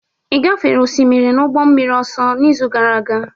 Ị gafere osimiri n'ụgbọ mmiri ọsọ n'izu gara aga?